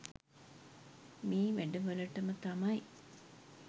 මේ වැඩ වලට ම තමයි.